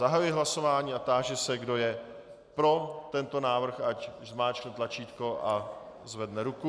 Zahajuji hlasování a táži se, kdo je pro tento návrh, ať zmáčkne tlačítko a zvedne ruku.